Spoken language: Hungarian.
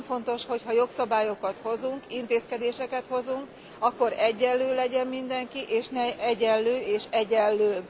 Nagyon fontos, hogy ha jogszabályokat hozunk, intézkedéseket hozunk, akkor egyenlő legyen mindenki, és ne egyenlő és egyenlőbb.